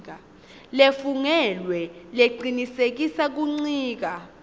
lefungelwe lecinisekisa kuncika